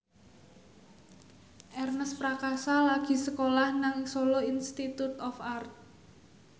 Ernest Prakasa lagi sekolah nang Solo Institute of Art